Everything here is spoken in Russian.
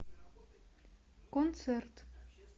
концерт